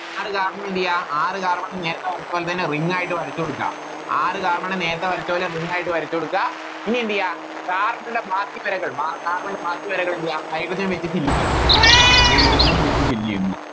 ആറ് Carbon എന്തെയ്യ ആറ് Carbon നേരത്തെ വരച്ച പോലെതന്നെ Ring ആയിട്ട് വരച്ചോടുക്ക ആറ് Carbon നെ നേരത്തെ വരച്ച പോലെ Ring ആയിട്ട് വരച്ചോടുക്ക ഇനിയെന്തെയ്യ Carbon ൻറെ ബാക്കി വരകൾ Carbon ന്റെ ബാക്കി വരകൾ എന്തെയ്യ Hydrogen വെച്ചിട്ട് Fill ചെയ്യാ hydrogenFill ചെയ്യുന്നു